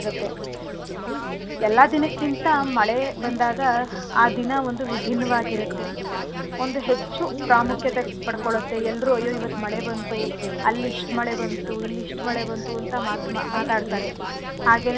ಎಲ್ಲಾ ದಿನಕ್ಕಿಂತ ಮಳೆ ಬಂದಾಗ ಆ ದಿನ ಒಂದು ವಿಭಿನ್ನವಾಗಿರತ್ತೆ ಒಂದು ಹೆಚ್ಚು ಪ್ರಾಮುಖ್ಯತೆ ಪಡ್ಕೊಳತ್ತೆ ಎಲ್ರೂ ಅಯ್ಯೋ ಇವತ್ ಮಳೆ ಬಂತು ಅಲ್ ಇಷ್ಟ್ ಮಳೆ ಬಂತು ಇಲ್ ಇಷ್ಟ್ ಮಳೆ ಬಂತು ಅಂತ ಮಾತು~ ಮಾತಾಡ್ತಾರೆ ಹಾಗೇನೇ ಮಳೆ.